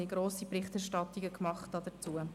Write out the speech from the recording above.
Diese Zeitungen hatten breit darüber berichtet.